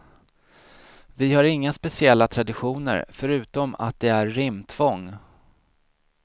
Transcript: Vi har inga speciella traditioner förutom att det är rimtvång.